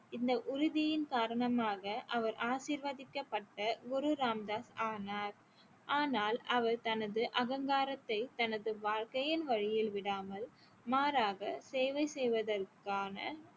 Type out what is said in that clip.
இந்த உறுதியின் காரணமாக அவர் ஆசீர்வதிக்கப்பட்ட குரு ராம் தாஸ் ஆனார் ஆனால் அவர் தனது அகங்காரத்தை தனது வாழ்க்கையின் வழியில் விடாமல் மாறாக சேவை செய்வதற்கான